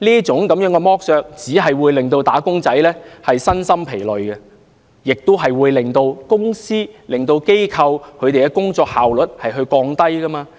這樣子剝削，只會令"打工仔"身心疲累，並且會令公司、機構的工作效率下降。